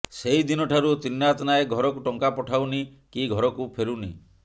ସେହିଦିନଠାରୁ ତ୍ରିନାଥ ନାୟକ ଘରକୁ ଟଙ୍କା ପଠାଉନି କି ଘରକୁ ଫେରୁନି